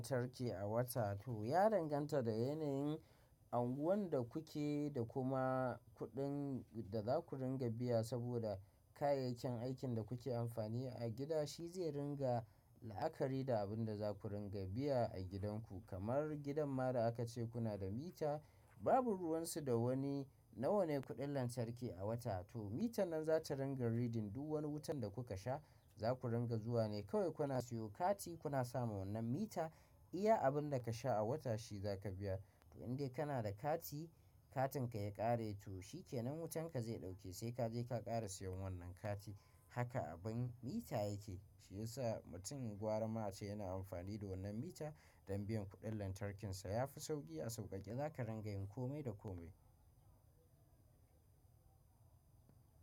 Lantarki a wata to ya danganta da yanayin anguwan da kuke da kuma kuɗin da za ku ringa biya. Saboda kayayyakin aikin da kuke amfani a gida shi zai ringa la'akari da abin da za ku ringa biya a gidanku. Kamar gidan mada aka ce kuna da mita, babu ruwan su da wani, nawa ne kuɗin lantarki a wata? To mitan nan zata ringa reading duk wani wutan da kuka sha za ku ringa zuwa ne. Kawai kuna siyo kati kuna sama wannan mita iya abin da ka sha a wata shi za ka biya. Indai kana da kati, katin ka ya ƙare to shi kenan wutan ka zai ɗauke sai ka je ka ƙara siyan wannan kati. Haka abin mita yake, shi yasa mutum gwaramace yana amfani da wannan mita don biyan kuɗin lantarkinsa ya fi sauƙi a sauƙaƙe za ka ringa yin kome da kome.